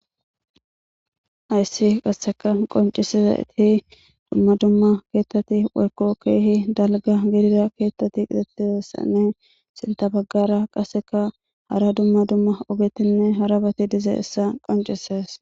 Ayssi qasseka qoncisiza iti dumma dumma keettati warkokeehi dalga gidira keettati qixattizassanne sinta baggara qasseka hara dumma dumma ogetinne harabati diza issa qoncises.